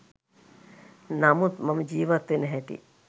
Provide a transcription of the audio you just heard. නමුත් මම ජීවත් වෙන හැටි